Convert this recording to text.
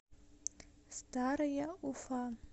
старая уфа